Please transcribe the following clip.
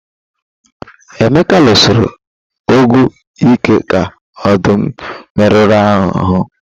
Emeka lụsiri ọgụ ike ka ọdụm merụrụ ahụ.